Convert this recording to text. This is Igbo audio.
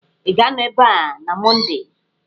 Ị ga-anọ ebe a na Mọnde!